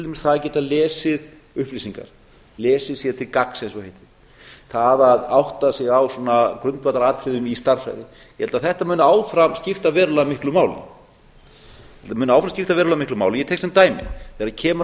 dæmis það að geta lesið upplýsingar lesið sér til gagns eins og það heitir það að átta sig á svona grundvallaratriðum í stærðfræði ég held að þetta muni áfram skipta verulega miklu máli ég held að það muni áfram skipta verulega miklu máli og ég tek sem sem dæmi þegar kemur að